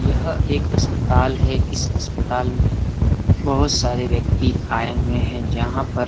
यह एक अस्तपताल है इस अस्तपताल में बहूत सारे व्यक्ति आये हुए हैं जहां पर --